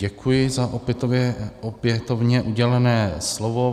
Děkuji za opětovně udělené slovo.